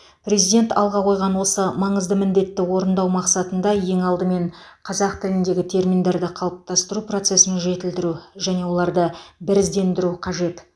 президент алға қойған осы маңызды міндетті орындау мақсатында ең алдымен қазақ тіліндегі терминдерді қалыптастыру процесін жетілдіру және оларды біріздендіру қажет